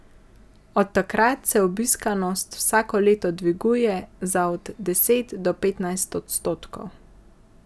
Od takrat se obiskanost vsako leto dviguje za od deset do petnajst odstotkov.